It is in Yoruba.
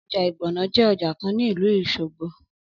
Ọjà ìgbọ̀nọ̀ je ọjà kan ni ìlú Òsogbo